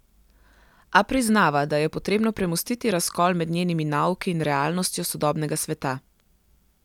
A priznava, da je potrebno premostiti razkol med njenimi nauki in realnostjo sodobnega sveta.